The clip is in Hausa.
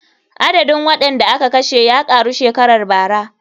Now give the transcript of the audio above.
Adadin waɗanda aka kashe ya ƙaru shekarar bara.